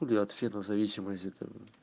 от фена зависимость